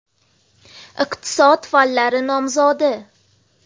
Iqtisod fanlari nomzodi.